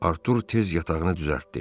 Artur tez yatağını düzəltdi.